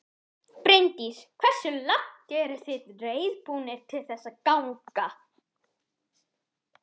Bryndís: Hversu langt eruð þið reiðubúnir til þess að ganga?